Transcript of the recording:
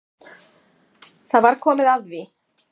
Það var komið að því.